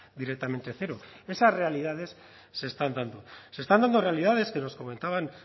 directamente cero esas realidades se están dando se están dando realidades que nos comentaban